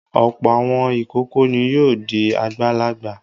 Ọ̀pọ̀ àwọn ìkókó ni yóò di àgbàlagbà.